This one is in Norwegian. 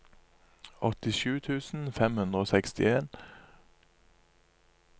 åttisju tusen fem hundre og sekstien